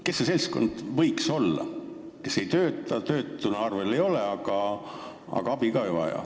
Kes see seltskond võiks olla, kes ei tööta, töötuna arvel ei ole, aga abi ikkagi ei vaja?